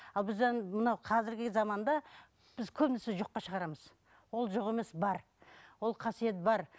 ал біз енді мынау қазіргі заманда біз көбінесе жоққа шығарамыз ол жоқ емес бар ол қасиет бар